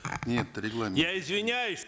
нет регламент я извиняюсь